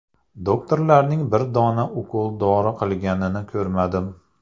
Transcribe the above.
Doktorlarning bir dona ukol-dori qilganini ko‘rmadim.